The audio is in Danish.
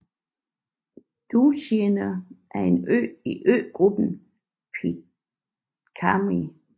Ducie er en ø i øgruppen Pitcairn